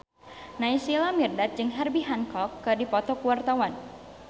Naysila Mirdad jeung Herbie Hancock keur dipoto ku wartawan